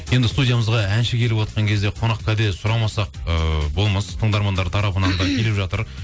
енді студиямызға әнші келіп отқан кезде қонақ кәде сұрамасақ ыыы болмас тыңдармандар тарапынан да келіп жатыр